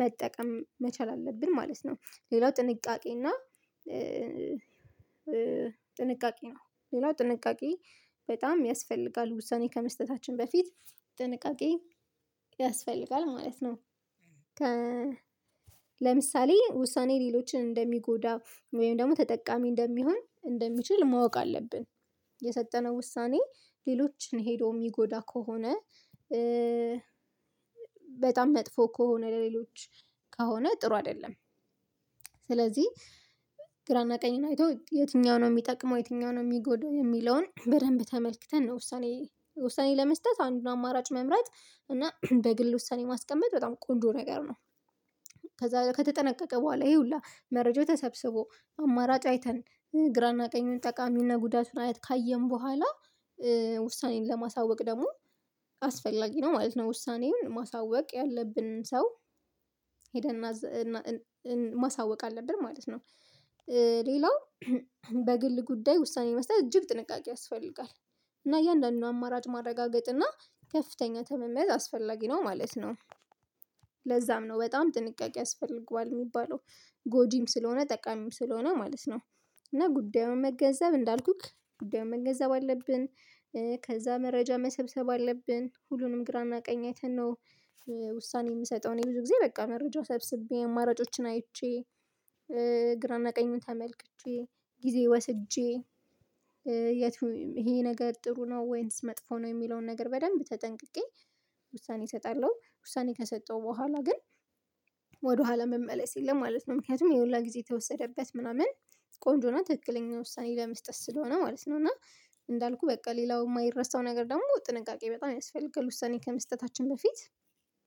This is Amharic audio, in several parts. መጠቀም መቻል አለብን ማለት ነው። ሌላው ጥንቃቄ ጥንቃቄ ነው ሌላው ጥንቃቄ በጣም ያስፈልጋል ውሳኔ ከመስጠታችን በፊት ጥንቃቄ ያስፈልጋል ማለት ነው። ለምሳሌ ውሳኔ ሌሎችን እንደሚጎዳ ወይም ደግሞ ተጠቃሚ እንደሚሆን እንደሚችል ማወቅ አለብን የሰጠነው ውሳኔ ሌሎችን ሄዶ የሚጎዳ ከሆነ በጣም መጥፎ ከሆነ ለሌሎች ከሆነ ጥሩ አይደለም። ስለዚህ ግራና ቀኝን አይቶ የትኛው ነው የሚጠቅመው የትኛው ነው የሚጎዳው የሚለውን በደንብ ተመልክተን ነው ውሳኔ ውሳኔ ለመስጠት አንዱን አማራጭ መምራት እና በግል ውሳኔ ማስቀመጥ በጣም ቆንጆ ነገር ነው። ከዛ ከተጠነቀቀ በኋላ ይሄ ሁላ መረጃው ተሰብስቦ አማራጭ አይተን ግራና ቀኙን ጠቃሚና ጉዳቱን አይተን ካየን በኋላ ውሳኔን ለማሳወቅ ደግሞ አስፈላጊ ነው ማለት ነው ውሳኔውን ማሳወቅ ያለብንን ሰው ሄደን ማሳወቅ አለብን ማለት ነው። ሌላው በግል ጉዳይ ውሳኔ መስጠት እጅግ ጥንቃቄ ያስፈልጋል እና እያንዳንዱን አማራጭ ማረጋገጥ እና ከፍተኛ ትምምን አስፈላጊ ነው ማለት ነው። ለዛም ነው በጣም ጥንቃቄ ያስፈልገዋል የሚባለው ጎጂም ስለሆነ ጠቃሚም ስለሆነ ማለት ነው። እና ጉዳዩን መገንዘብ እንዳልኩህ ጉዳዩን መገንዘብ አለብን ከዛ መረጃ መሰብሰብ አለብን ሁሉንም ግራና ቀኝ አይተን ነው ውሳኔ የምሰጠው እኔ ብዙ ጊዜ በቃ መረጃውን ሰብስቤ አማራጮችን አይቼ ግራና ቀኙን ተመልክቼ ጊዜ ወስጄ ይሄ ነገር ጥሩ ነው ወይንስ መጥፎ ነው የሚለውን ነገር በደንብ ተጠንቅቄ ውሳኔ እሰጣለሂጨውሳኔ ከሰጠው በኋላ ግን ወደኋላ መመለስ የለም ማለት ነው። ምክንያቱም ይሄ ሁላ ጊዜ የተወሰደበት ምናምን ቆንጆና ትክክለኛ ውሳኔ ለመስጠት ስለሆነ ማለት ነው። እና እንዳልኩህ በቃ ሌላው የማይረሳው ነገር ደግሞ ጥንቃቄ በጣም ያስፈልጋል ውሳኔ ከመስጠታችን በፊት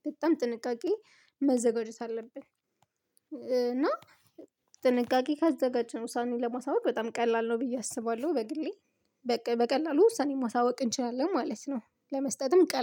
በጣም ጥንቃቄ መዘጋጀት አለብን። እና ጥንቃቄ ካዘጋጀነው ዉሳኔዉን ለማሳወቅ በጣም ቀላል ነው ብዬ አስባለሁ በግሌ በቃ በቀላሉ ውሳኔ ማሳወቅ እንችላለን ማለት ነው። ለመስጠትም ቀላ